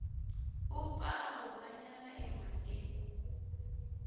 u pfa a humanyana emhakeni